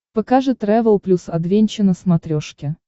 покажи трэвел плюс адвенча на смотрешке